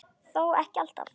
Þó ekki alltaf.